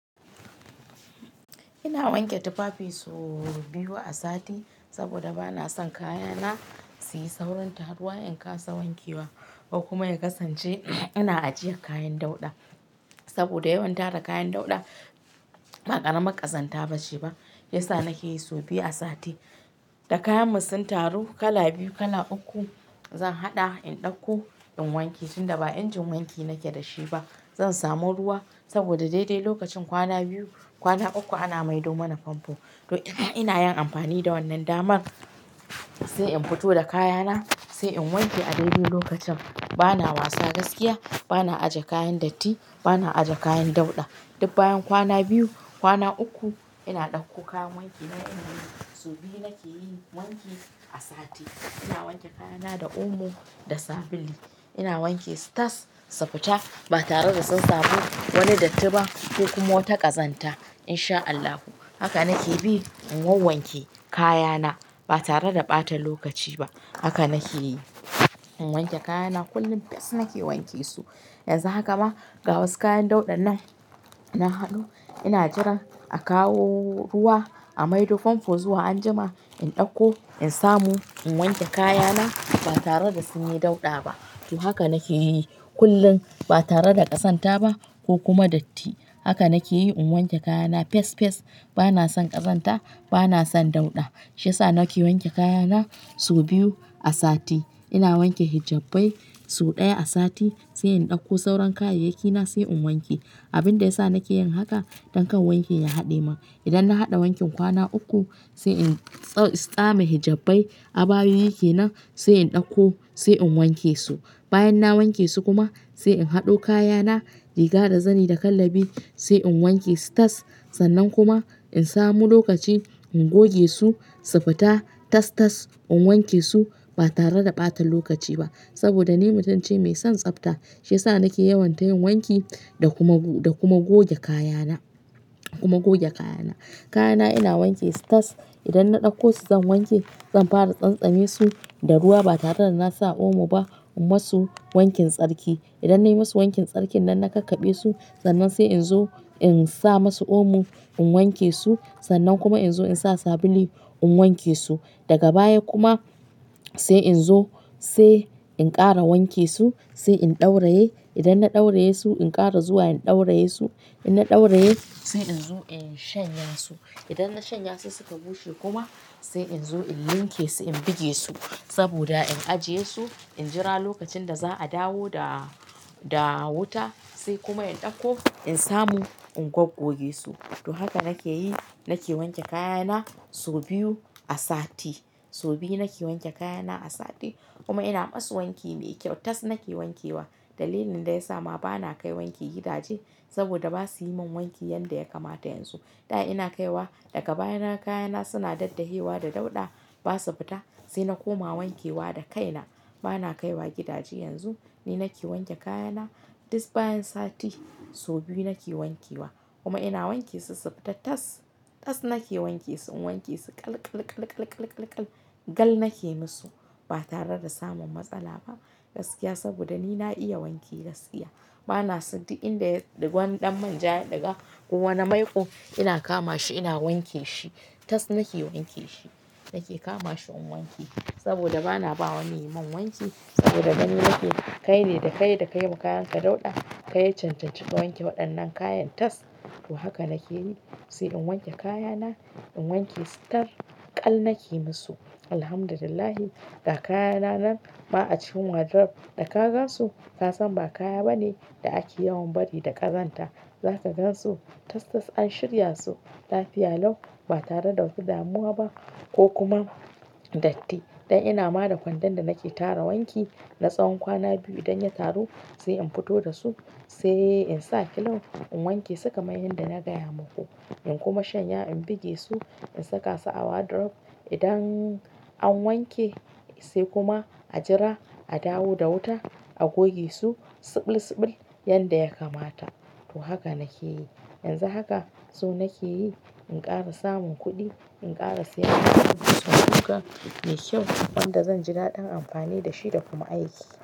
Ina wanke tufafi so biyu a sati saboda bana son kayana su yi saurin taruwa in kasa wanke wa ko kuma ya kasance ina ajiye kayan dauɗa. Saboda yawan tara kayan dauɗa, ba ƙarama ƙazanta ba ce ba. Yasa nake yi so biyu a sati. Da kayanmu sun taru kala biyu, kala uku, zan haɗa in ɗauko in wanke tunda ba injin wanki nake da shi ba. Zan samu ruwa saboda daidai lokacin kwana biyu, kwana uku ana maido mana famfo. To ina yin amfani da wannan daman, sai in fito da kayana sai in wanke a daidai lokacin. Bana wasa gaskiya, bana aje kayan datti, bana aje kayan dauɗa. Dub bayan kwana biyu, kwana uku ina ɗauko kayan wankina ina wanke su. So biyu nake yi wanki a sati. Ina wanke kayana da omo da sabili. Ina wanke su tas su fita ba tare da sun samu wani datti ba ko kuma wata ƙazanta in sha Allahu. Haka nake bi in wawwanke kayana ba tare da ɓata lokaci ba. Haka nake yi in wanke kayana kullum fes nake wanke su. Yanzu haka ma ga wasu kayan dauɗan nan na haɗo ina jiran a kawo ruwa a maido famfo zuwa anjima in ɗauko in samu in wanke kayana ba tare da sun yi dauɗa ba. To haka nake yi kullum ba tare da ƙazanta ba ko kuma datti. Haka nake yi in wanke kayana fes fes. Bana son ƙazanta, bana son dauɗa. Shi yasa nake wanke kayana so biyu a sati. Ina wanke hijabbai so ɗaya a sati sai in ɗauko sauran kayayyakina sai in wanke. Abin da ya sa nake yin haka don kan wanki ya haɗe mun. Idan na haɗa wankin kwana uku sai in tsame hijabbai, abayoyi kenan sai in ɗauko sai in wanke su. Bayan na wanke su kuma sai in haɗo kayana riga da zani da kallabi sai in wanke su tas. Sannan kuma in samu lokaci in goge su, su fita tas tas in wanke su ba tare da ɓata lokaci ba. Saboda ni mutunce mai son tsafta shi yasa nake yawan ta yin wanki da kuma goge kayana, kuma goge kayana. Kayana ina wanke su tas. Idan na ɗauko su zan wanke, zan fara tsantsame su da ruwa ba tare da na sa omo ba in ma su wankin tsarki. Idan na yi ma su wankin tsarki nan na kakkaɓe su sannan sai in zo in sa masu omo in wanke su. Sannan kuma in zo in sa sabuli in wanke su. Daga baya kuma sai in zo sai in ƙara wanke su sai in ɗauraye. Idan na ɗauraye su in ƙara zuwa in ɗauraye su. In na ɗauraye sai in zo in shanya su. Idan na shanya su suka bushe kuma sai in zo in linke su in buge su saboda in ajiye su, in jira lokacin da za a dawo da, da wuta sai kuma in ɗauko in samu in gwaggoge su. To haka nake yi, nake wanke kayana so biyu a sati. So biyu nake wanke kayana a sati kuma ina ma su wanki mai kyau. Tas nake wanke wa. Dalilin da ya sa ma bana kai wanki gidaje saboda ba su yi mun wanki yanda ya kamata yanzu. Da ina kaiwa daga baya naga kayana suna daddahewa da dauɗa ba su fita sai na koma wanke wa da kaina. Bana kaiwa gidaje yanzu. Ni nake wanke kayana. Dub bayan sati so biyu nake wanke wa kuma ina wanke su su fita tas. Tas nake wanke su, in wanke su kal kal kal kal kal gal nake musu ba tare da samun matsala ba gaskiya saboda ni na iya wanki gaskiya. Bana san di inda wani ɗan manja ya ɗiga ko wani maiƙo. Ina kama shi ina wanke shi. Tas nake wanke shi. Nake kama shi in wanke saboda bana ba wa wani yaimin wanki saboda gani nake kaine, da ka yi, da ka yi ma kayan ka dauɗa. Kai ya cancanci ka wanke waɗannan kayan tas. To haka nake yi sai in wanke kayana, in wanke su tal kal nake musu. Alhamdulillahi ga kayana nan ma a cikin wardrobe. Da ka gan su ka san ba kaya ba ne da ake yawan bari da ƙazanta. Za ka gan su tas tas an shirya su lafiya lau ba tare da wata damuwa ba ko kuma datti. Dan ina ma da kwandon da nake tara wanki na tsawon kwana biyu idan ya taru sai in fito da su sai in sa kiln in wanke su kamar yadda na gaya muku. In kuma shanya in buge su, in saka su a wardrobe. Idan an wanke sai kuma a jira a dawo da wuta a goge su subul subul yanda ya kamata. To haka nake yi. Yanzu haka so nake yi in ƙara samun kuɗi in ƙara siyan sabon kusa mai kyau wanda zan ji daɗin amfani da shi da kuma aiki.